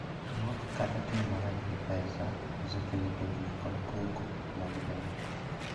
Nok kata tiyo marach gi pesa osekelo tungni kod koko mag joot.